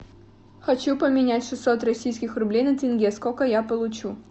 хочу поменять шестьсот российских рублей на тенге сколько я получу